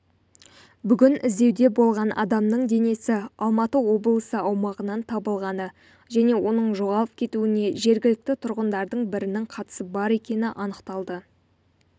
бүгін іздеуде болған адамның денесі алматы облысы аумағынан табылғаны және оның жоғалып кетуіне жергілікті тұрғындардың бірінің қатысы бар екені анықталды